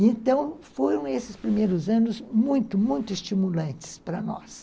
Então, foram esses primeiros anos muito, muito estimulantes para nós.